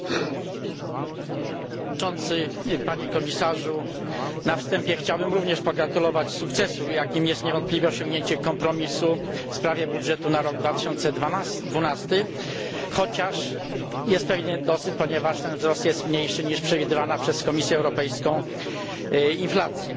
Panie Przewodniczący! Panie Komisarzu! Na wstępie chciałbym również pogratulować sukcesu, jakim jest niewątpliwie osiągnięcie kompromisu w sprawie budżetu na rok 2012, chociaż jest pewien niedosyt, ponieważ wzrost jest mniejszy niż przewidywana przez Komisję Europejską inflacja.